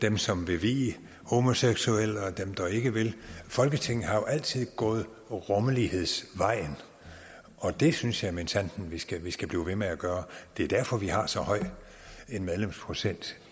dem som vil vie homoseksuelle og dem der ikke vil folketinget har altid gået rummelighedsvejen og det synes jeg minsandten vi skal vi skal blive ved med at gøre det er derfor vi har så høj en medlemsprocent